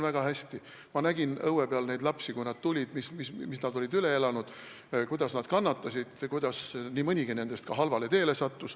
Kui need lapsed sinna tulid, siis ma nägin, mis nad üle olid elanud, kuidas nad kannatasid, kuidas nii mõnigi nendest halvale teele sattus.